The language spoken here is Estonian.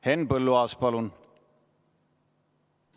Henn Põlluaas, palun!